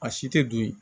A si tɛ dun yen